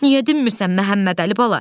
Niyə dinmirsən Məhəmmədəli bala?